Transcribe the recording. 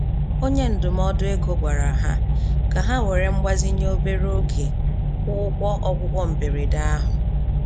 Onye ndụmọdụ ego gwara ha ka ha were mgbazinye obere oge kwụọ ụgwọ ọgwụgwọ mberede ahụ